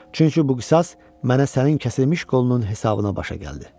Çünki bu qisas mənə sənin kəsilmiş qolunun hesabına başa gəldi.